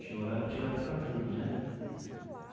Tinha horário tinha horário para tudo né.